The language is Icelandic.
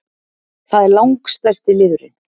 Það er langstærsti liðurinn